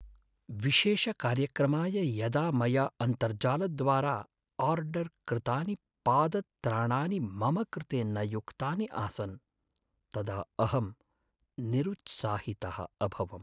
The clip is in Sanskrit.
विशेषकार्यक्रमाय यदा मया अन्तर्जालद्वारा आर्डर् कृतानि पादत्राणानि मम कृते न युक्तानि आसन् तदा अहं निरुत्साहितः अभवम्।